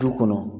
Du kɔnɔ